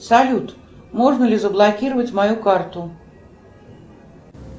салют можно ли заблокировать мою карту